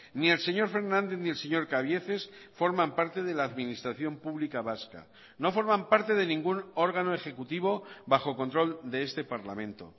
ni el señor fernández ni el señor cabieces forman parte de la administración pública vasca no forman parte de ningún órgano ejecutivo bajo control de este parlamento